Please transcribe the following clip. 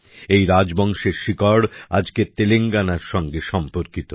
এই রাজবংশের শিকড় আজকের তেলেঙ্গানার সাথে সম্পর্কিত